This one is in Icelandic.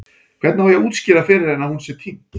Hvernig á ég að útskýra fyrir henni að hún sé týnd?